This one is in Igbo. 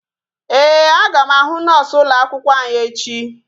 Ee, aga m ahụ noosu ụlọ akwụkwọ anyị echi